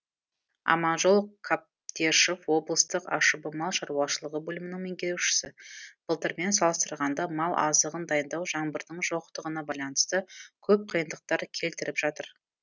аманжол қабдешов облысық ашб мал шаруашылығы бөлімінің меңгерушісі былтырмен салыстырғанда мал азығын дайындау жаңбырдың жоқтығына байланысты көп қиындықтар келтіріп жатыр